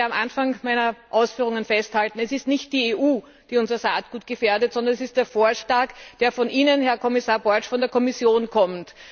Ich möchte am Anfang meiner Ausführungen festhalten Es ist nicht die EU, die unser Saatgut gefährdet, sondern es ist der Vorschlag, der von Ihnen, Herr Kommissar Borg, von der Kommission kommt!